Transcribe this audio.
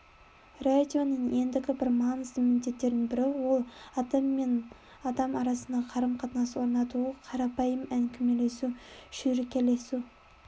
радионың ендігі бір маңызды міндеттерінің бірі ол адам мен адам арасында қарым-қатынас орнатуы қарапайым әңгімелесу шүйіркелесу